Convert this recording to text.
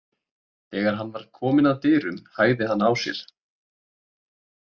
Þegar hann var kominn að dyrunum hægði hann á sér.